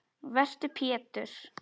Vertu Pétur.